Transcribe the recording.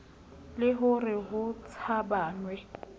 le ho re ho tshabanwe